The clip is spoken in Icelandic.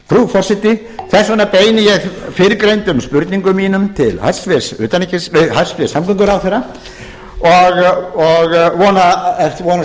þess vegna beini ég fyrrgreindum spurningum mínum til hæstvirts samgönguráðherra og vonast